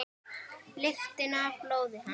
Lyktina af blóði hans.